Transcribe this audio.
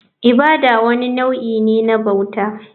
Ibada wani nau'i ne na bauta.